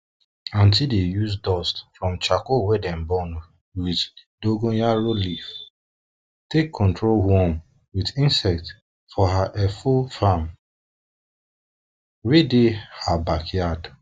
auntie dey use dust from charcoal wey dem burn wit dongoyaro leaf take control worm wit insect for her efo farm wey dey her backyard